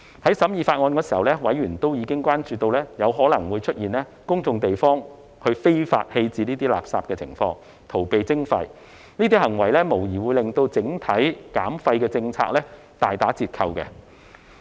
在審議《條例草案》時，委員已關注到有可能出現在公眾地方非法棄置垃圾，以逃避徵費的情況，這種行為無疑會令整體減廢政策大打折扣。